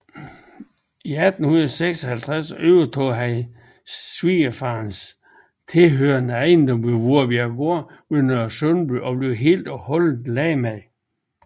I 1856 overtog han den svigerfaderen tilhørende ejendom Voerbjerggård ved Nørresundby og blev helt og holdent landmand